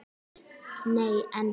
Nei, en.